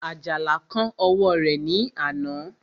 Àjàlá kán ọwọ́ rẹ̀ ní àná